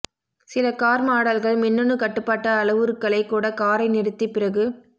சில கார் மாடல்கள் மின்னணு கட்டுப்பாட்டு அளவுருக்களைச் கூட காரை நிறுத்தி பிறகு